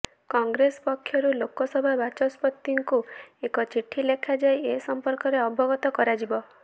କଂଗ୍ରେସ ପକ୍ଷରୁ ଲୋକସଭା ବାଚସ୍ପତିଙ୍କୁ ଏକ ଚିଠି ଲେଖାଯାଇ ଏ ସମ୍ପର୍କରେ ଅବଗତ କରାଯିବ